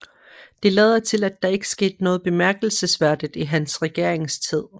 Det lader til at der ikke skete noget bemærkelsesværdigt i hans regeringstid